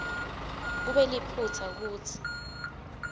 kube liphutsa kutsi